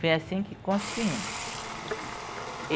Foi assim que construímos.